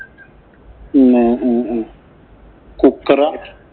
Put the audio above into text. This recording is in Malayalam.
പിന്നെ ഏർ ഏർ cooker ആ.